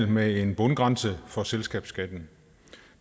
med en bundgrænse for selskabsskatten